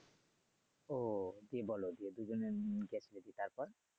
ও কি বলো যে দুজনের তারপর